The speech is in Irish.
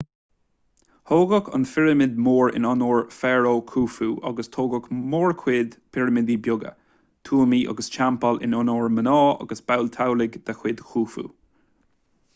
tógadh an phirimid mhór in onóir fharó khufu agus tógadh móchuid pirimidí beaga tuamaí agus teampaill in onóir mná agus baill teaghlaigh de chuid khufu